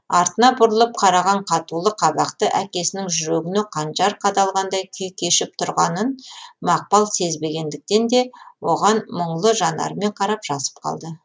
артына бұрылып қараған қатулы қабақты әкесінің жүрегіне қанжар қадалғандай күй кешіп тұрғанын мақпал сезбегендіктен де оған мұңлы жанарымен қарап жасып қалды